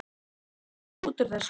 Hvað lest þú út úr þessu?